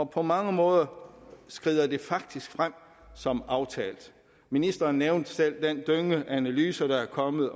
på mange måder skrider det faktisk frem som aftalt ministeren nævnte selv den dynge af analyser der er kommet